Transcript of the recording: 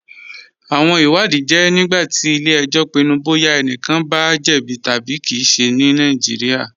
Awọn ìwàdìí jẹ nígbàtí ilẹ̀-ẹ̀jọ̀ pinnu bọya ẹ̀nìkàn bá jẹ̀bí tabi kí ìṣẹ̀ ní Nàìjíríà.